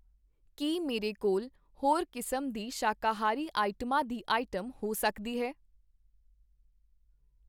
ਕੀ ਮੇਰੇ ਕੋਲ ਹੋਰ ਕਿਸਮ ਦੀ ਸ਼ਾਕਾਹਾਰੀ ਆਈਟਮਾਂ ਦੀ ਆਈਟਮ ਹੋ ਸਕਦੀ ਹੈ?